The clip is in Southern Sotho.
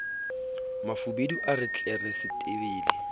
mafubedu a re tlere setebele